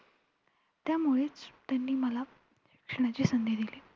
त्यामुळेच त्यांनी मला शिक्षणाची संधी दिली.